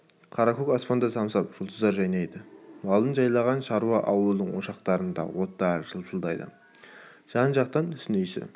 қара көк аспаңда самсап жұлдыздар жайнайды малын жайлаған шаруа ауылдың ошақтарында оттар жылтылдайды жан-жақтан түтін иісі